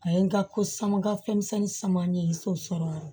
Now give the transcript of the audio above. A ye n ka ko samankafɛnmisɛnnin sama n ye so sɔrɔ